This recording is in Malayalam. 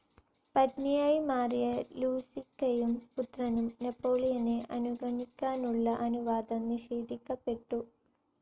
പത്നിയായി മാറിയ ലൂയിസക്കും പുത്രനും നെപ്പോളിയനെ അനുഗമിക്കാനുള്ള അനുവാദം നിഷേധിക്കപ്പെട്ടു.